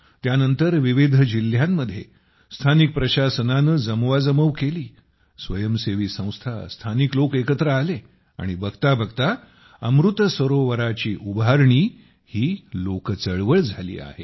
त्यानंतर विविध जिल्ह्यांमध्ये स्थानिक प्रशासनाने जमवाजमव केली स्वयंसेवी संस्था आणि स्थानिक लोक एकत्र आले आणि बघताबघता अमृत सरोवराची उभारणी ही लोकचळवळ झाली आहे